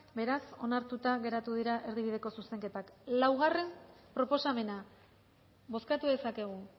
beraz onartuta geratu dira erdibideko zuzenketak laugarrena proposamena bozkatu dezakegu